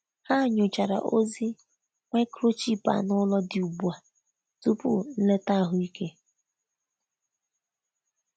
Ha nyochara ozi microchip anụ ụlọ dị ugbu a tupu nleta ahụike.